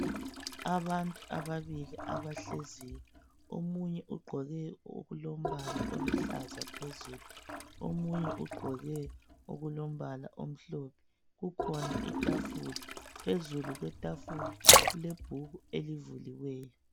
Abantu ababili abahleziyo. Omunye ugqoke okulombala oluhlaza phezulu. Omunye ugqoke okulombala omhlophe. Kukhona ithafula, phezulu kwethafula kulebhuku elivuliweyo.